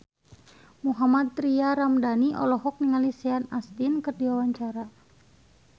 Mohammad Tria Ramadhani olohok ningali Sean Astin keur diwawancara